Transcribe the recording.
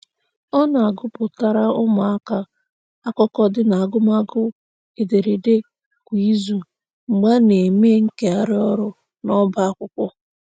Ọ na-agụpụtara ụmụaka akụkọ dị n'agụmagụ ederede kwa izu mgbe a na-eme nkegharị ọrụ n'ọba akwụkwọ